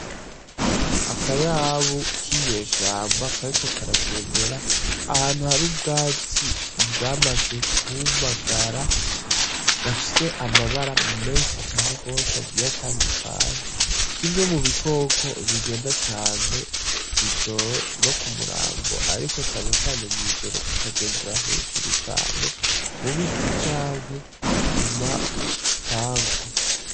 Akayabu k'inyeshamba kariko karagendera ahantu hari ubwatsi bwamaze kumagara, gafise amabara menshi cane gose agiye atandukanye, kimwe mu bikoko bigenda cane ijoro no ku murango ariko cane cane mw'ijoro, kakagendera hajuru cane mu biti canke ku mpangu.